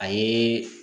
A ye